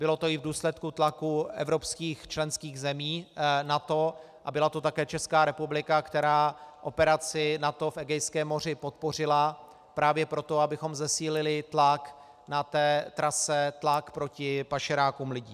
Bylo to i v důsledku tlaku evropských členských zemí NATO a byla to také Česká republika, která operaci NATO v Egejském moři podpořila právě proto, abychom zesílili tlak na té trase, tlak proti pašerákům lidí.